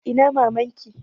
Ina maman ki?